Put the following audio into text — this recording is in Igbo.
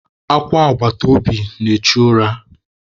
Akwa agbataobi na-echu ura.